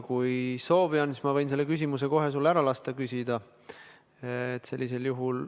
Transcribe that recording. Kui soovi on, siis ma võin selle küsimuse sul kohe ära lasta küsida.